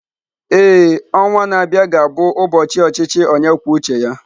Ee, ọnwa a na-abịa ga-abụ ụbọchị ọchịchị onye kwuo uche ya